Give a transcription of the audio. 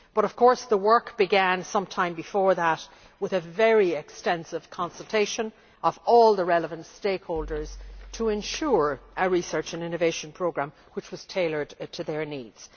But of course the work began some time before that with a very extensive consultation of all the relevant stakeholders to ensure a research and innovation programme which was tailored to their needs.